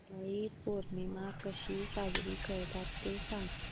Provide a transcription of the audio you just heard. नारळी पौर्णिमा कशी साजरी करतात ते सांग